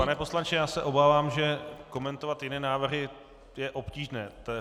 Pane poslanče, já se obávám, že komentovat jiné návrhy je obtížné.